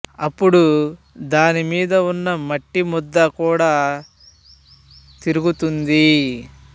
అప్పుడు దానిమీద వున్న మట్టి ముద్ద కూడా తిరుగు తుంది